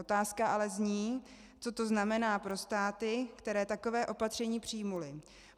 Otázka ale zní, co to znamená pro státy, které taková opatření přijaly.